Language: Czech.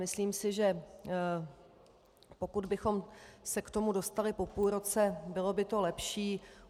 Myslím si, že pokud bychom se k tomu dostali po půl roce, bylo by to lepší.